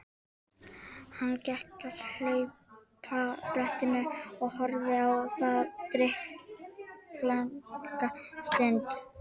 Hann gekk að hlaupabrettinu og horfði á það drykklanga stund.